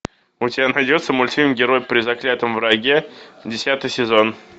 у тебя найдется мультфильм герой при заклятом враге десятый сезон